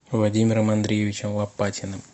владимиром андреевичем лопатиным